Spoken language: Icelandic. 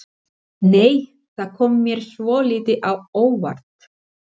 Nei! Það kom mér svolítið á óvart!